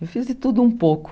Eu fiz de tudo um pouco.